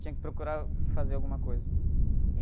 Tinha que procurar o... Que fazer alguma coisa.